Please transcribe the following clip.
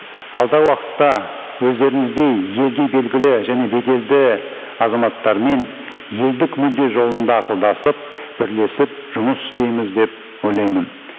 уақытта өздеріңіздей елге белгілі және беделді азаматтармен елдік мүдде жолында ақылдасып бірлесіп жұмыс істейміз деп ойлаймын